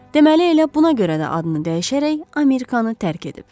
Deməli elə buna görə də adını dəyişərək Amerikanı tərk edib.